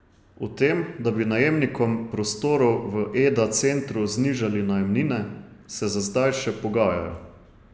O tem, da bi najemnikom prostorov v Eda centru znižali najemnine, se za zdaj še pogajajo.